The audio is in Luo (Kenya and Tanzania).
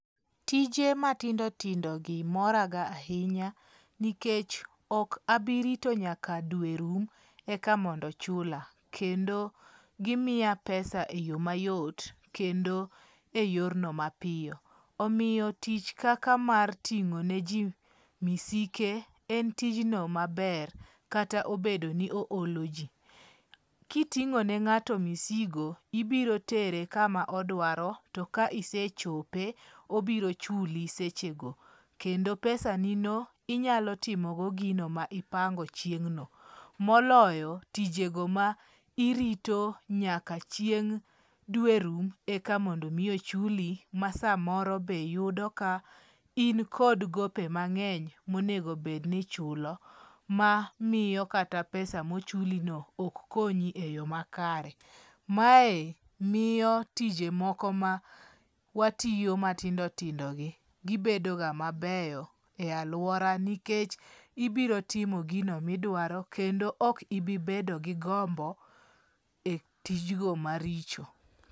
Tije matindo tindogi moraga ahinya nikech ok abi rito nyaka dwe rum eka mondo chula. Kendo gimiya pesa e yo mayot. Kendo eyorno mapiyo. Omiyo tich kaka mar ting'o niji misike , en tijno maber kata obedo ni ooloji. Kiting'o ne ng'ato misigo, ibiro tere kama odwaro to ka isechope, obiro chuli sechego kendo pesanino, inyalo timogo gino ma ipango chieng' no, moloyo tijego ma irito nyaka chieng' dwe rum eka mondo mi ochuli masamoro be yudo ka in kod gope mang'eny monego bed ni ichulo. Ma miyo kata pesa pesa mochulino ok konyi eyo makare. Mae miyo tije moko ma watiyo matindo tindogi gibedo ga mabeyo e aluora nikech ibiro timo gino ma idwaro kendo ok ibi bedo gi gombo e tij go maricho.